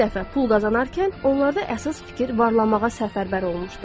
İlk dəfə pul qazanarkən onlarda əsas fikir varlanmağa səfərbər olunmuşdur.